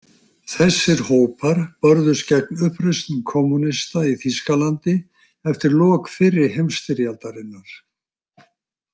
Þessir hópar börðust gegn uppreisnum kommúnista í Þýskalandi eftir lok fyrri heimsstyrjaldarinnar.